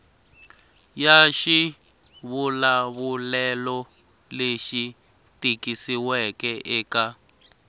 ya xivulavulelo lexi tikisiweke eka